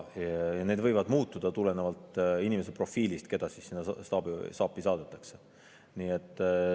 Need võivad muutuda tulenevalt selle inimese profiilist, kes sinna staapi saadetakse.